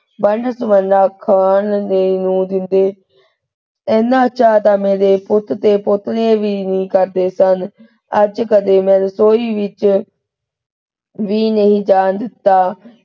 One ਸੁਵੰਨਾ ਖਾਣ ਦੇਣ ਨੂੰ ਦਿੰਦੇ। ਇੰਨਾ ਚਾਅ ਤਾਂ ਮੇਰੇ ਪੁੱਤ ਦੇ ਪੋਤੇ ਵੀ ਨਹੀਂ ਕਰਦੇ ਸਨ। ਅੱਜ ਕਦੇ ਮੈਂ ਰਸੋਈ ਵਿਚ ਵੀ ਨਹੀ ਜਾਣ ਦਿੱਤਾ।